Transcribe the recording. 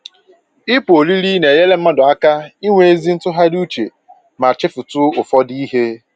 Ịpụ ọrịrị na-enyere mmadụ aka inwe ezi ntụgharị uche ma chefutu ụfọdụ ihe